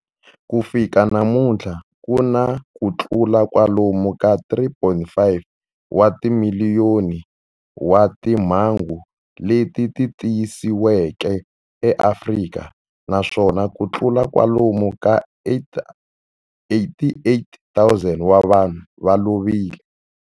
Ku fika namuntlha ku na kutlula kwalomu ka 3.5 wa timiliyoni wa timhangu leti tiyisisiweke eAfrika, naswona kutlula kwalomu ka 88,000 wa vanhu va lovile.